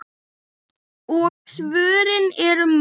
Og svörin eru mörg.